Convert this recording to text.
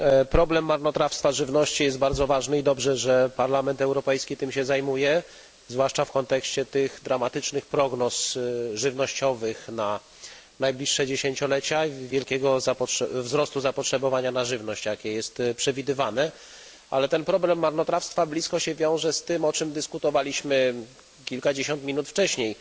Problem marnotrawstwa żywności jest bardzo ważny i dobrze, że Parlament Europejski tym się zajmuje, zwłaszcza w kontekście dramatycznych prognoz żywnościowych na najbliższe dziesięciolecia i wielkiego wzrostu zapotrzebowania na żywność. Problem marnotrawstwa wiąże się blisko z tym, o czym dyskutowaliśmy kilkadziesiąt minut wcześniej